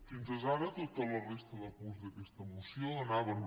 fins ara tota la resta de punts d’aquesta moció anaven